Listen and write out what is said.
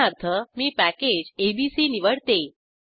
उदाहरणार्थ मी package ABC निवडते